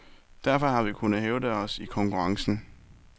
Derfor har vi kunnet hævde os i konkurrencen.